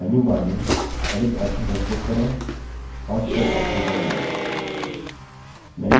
अब menu bar में edit option पर click करें और fill option पर जाएँ